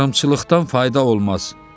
Yarımçılıqdan fayda olmaz.